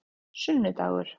sunnudagar